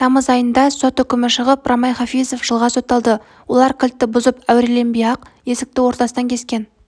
тамыз айында сот үкімі шығып рамай хафизов жылға сотталды олар кілтті бұзып әуреленбей-ақ есікті ортасынан кескен